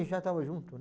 já estava junto, né?